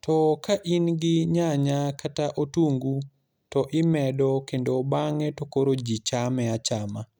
to ka in gi nyanya kata otungu to imedo kendo bang'e to koro ji chame achama.